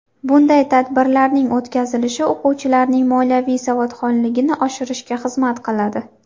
Bunday tadbirlarning o‘tkazilishi o‘quvchilarning moliyaviy savodxonligini oshirishga xizmat qiladi.